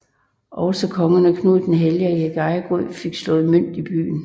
Også kongerne Knud den Hellige og Erik Ejegod fik slået mønt i byen